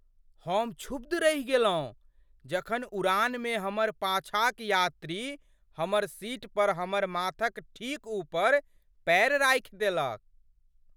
हम क्षुब्ध रहि गेलहुँ जखन उड़ानमे हमर पाछाँक यात्री हमर सीट पर, हमर माथक ठीक ऊपर पैर राखि देलक।